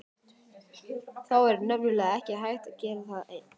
Það er nefnilega ekki hægt að gera það einn.